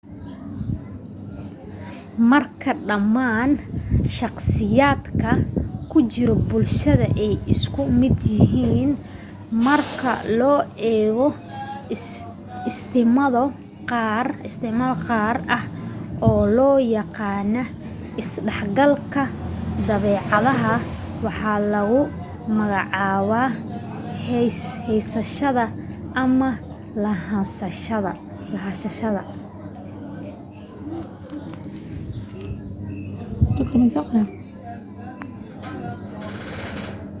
markii dhammaan shakhsiyaadka ku jira bulshada ay isku mid yihiin marka loo eego astaamo gaar ah oo loo yaqaan isdhexgalka dabeecad waxaa lagu magacaabaa heysashada ama lahanshaha